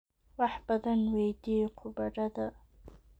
Wax badan weydii khubarada"